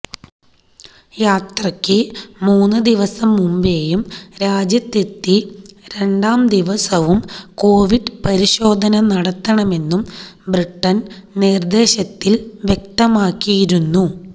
യാത്രയ്ക്ക് മൂന്ന് ദിവസം മുമ്പേയും രാജ്യത്തെത്തി രണ്ടാം ദിവസവും കോവിഡ് പരിശോധന നടത്തണമെന്നും ബ്രിട്ടൻ നിർദ്ദേശത്തിൽ വ്യക്തമാക്കിയിരുന്നു